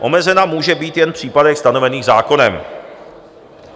Omezena může být jen v případech stanovených zákonem.